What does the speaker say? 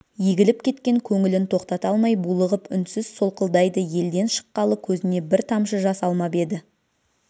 егіліп кеткен көңілін тоқтата алмай булығып үнсіз солқылдайды елден шыққалы көзіне бір тамшы жас алмап еді